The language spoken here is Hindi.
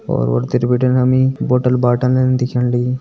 और उरतिर बिटिन हमी बोटल -बॉटलन दिखेण लगीं।